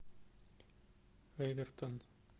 эвертон